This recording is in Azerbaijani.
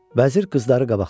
Vəzir qızları qabaqladı.